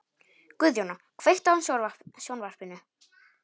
Guðjóna, kveiktu á sjónvarpinu.